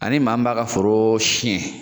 Ani maa min b'a ka foro siɲɛ